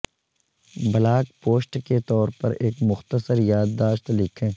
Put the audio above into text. blog post کے طور پر ایک مختصر یادداشت لکھیں